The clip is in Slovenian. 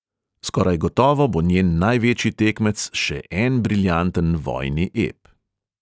Skoraj gotovo bo njen največji tekmec še en briljanten vojni ep.